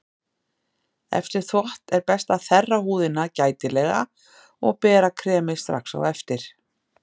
Eftir þvott er best að þerra húðina gætilega og bera kremið strax á eftir.